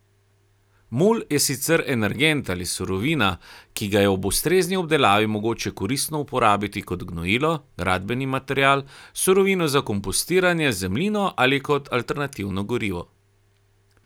Mulj je sicer energent ali surovina, ki ga je ob ustrezni obdelavi mogoče koristno uporabiti kot gnojilo, gradbeni material, surovino za kompostiranje, zemljino ali kot alternativno gorivo.